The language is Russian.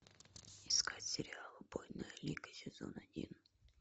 искать сериал убойная лига сезон один